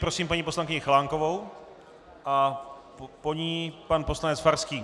Prosím paní poslankyni Chalánkovou a po ní pan poslanec Farský.